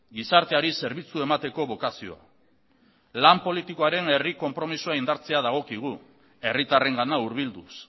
gizarteari zerbitzua emateko bokazioa lan politikoaren herri konpromisoa dagokigu herritarrengana hurbilduz